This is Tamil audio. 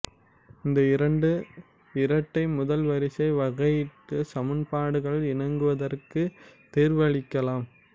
இந்த இரண்டு இரட்டை முதல்வரிசை வகையீட்டுச் சமன்பாடுகள் இணங்குவதற்குத் தீர்வளிக்கலாம்